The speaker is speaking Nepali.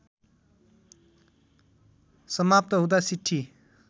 समाप्त हुँदा सिट्ठी